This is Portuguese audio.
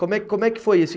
Como é como é que foi isso?